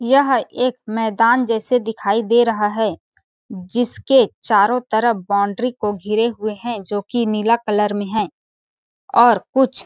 यह एक मैदान जैसे दिखाई दे रहा है जिसको चारो तरफ बाउंड्री को घिरे हुए है जोकि नीला कलर में है और कुछ--